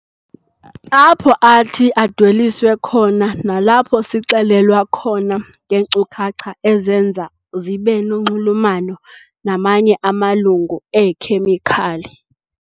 Apho athi adweliswe khona nalapho sixelelwa khona ngeenkcukacha ezenza zibe nonxulumano namanye amalungu eekhemikhali.